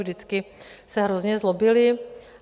Vždycky se hrozně zlobili.